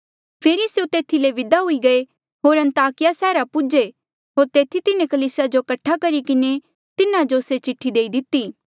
फेरी स्यों तेथी ले विदा हुई गये होर अन्ताकिया सैहरा पौहुन्चे होर तेथी तिन्हें कलीसिया जो कठा करी किन्हें तिन्हा जो से चिठ्ठी देई दिती